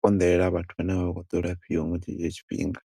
konḓelela vhathu vhane vha vha khou ḓa u lafhiwa nga tshetsho tshifhinga.